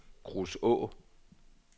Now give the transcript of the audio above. Kruså